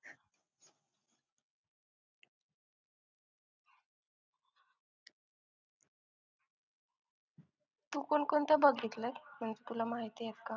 तू कोण कोणतं बघितलं मग तुला माहिती येत का